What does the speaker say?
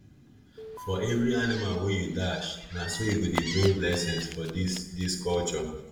for every animal wey you dash na so e go dey bring blessing for this this culture